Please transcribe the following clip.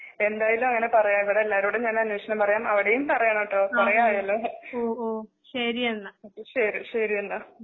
എന്തയാലും അങ്ങനെ പറയാം ഇവിടെ എല്ലാരോടും ഞാൻ അന്വേഷണം പറയാം അവിടേയും പറയണുട്ടോ കുറേയായല്ലോ ശരിശരിയെന്ന.